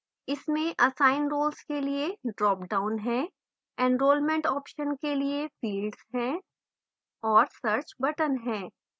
इसमें assign roles के लिए ड्रॉपडाउन है enrolment options के लिए fields है औऱ search button है